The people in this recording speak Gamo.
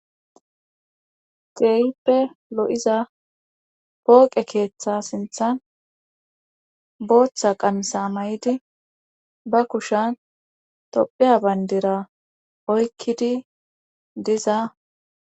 Ceyppe lo'iza pooqe keeththa sinthan booththa qamsa may'idi ba kushan tophiya bayndira oykkidi diza.